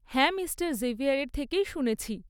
হ্যাঁ মিস্টার জেভিয়ারের থেকেই শুনেছি।